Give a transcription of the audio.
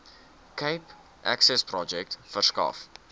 cape accessprojek verskaf